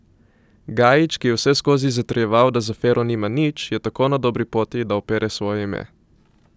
Gajić, ki je vseskozi zatrjeval, da z afero nima nič, je tako na dobri poti, da opere svoje ime.